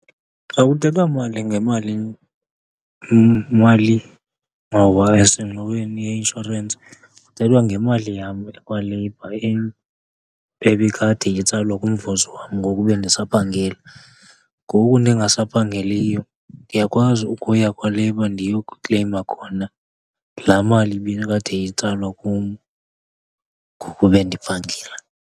Xa kuthethwa mali, ngemali malingxowa esengxoweni ye-insurance, kuthethwa ngemali yam ekwaLabour ebikade itsalwa kumvuzo wam ngoku bendisaphangela. Ngoku ndingasaphangeliyo ndiyakwazi ukuya kwaLabour ndiyokukleyima khona laa mali ibikade itsalwa kum ngoku bendiphangela.